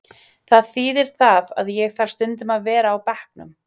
Það þíðir það að ég þarf stundum að vera á bekknum.